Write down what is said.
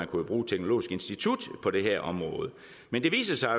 kunne bruge teknologisk institut på det her område men det viser sig at